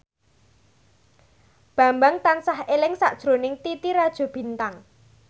Bambang tansah eling sakjroning Titi Rajo Bintang